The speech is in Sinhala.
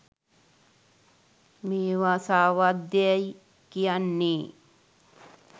මේවා සාවද්‍ය යැයි කියන්නේ